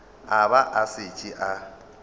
a ba a šetše a